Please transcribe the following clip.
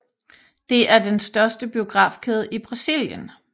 Det er er den største biografkæde i Brasilien